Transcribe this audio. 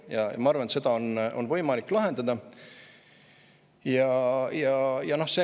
Ja ma arvan, et seda on võimalik lahendada.